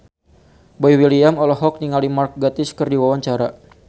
Boy William olohok ningali Mark Gatiss keur diwawancara